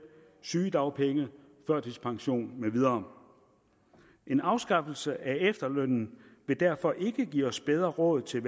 sygedagpenge førtidspension med videre en afskaffelse af efterlønnen vil derfor ikke give os bedre råd til